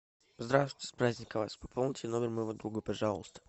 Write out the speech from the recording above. здравствуйте с праздником вас пополните номер моего друга пожалуйста